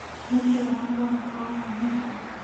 Nĩkĩĩ wamboeka ũguo ũmũthĩ